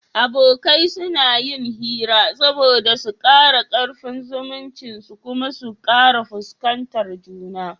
Abokai suna yin hira saboda su kara karfin zumuncin su kuma su kara fuskantar juna